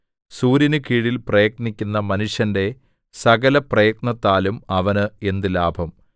സൂര്യനുകീഴിൽ പ്രയത്നിക്കുന്ന മനുഷ്യന്റെ സകലപ്രയത്നത്താലും അവന് എന്ത് ലാഭം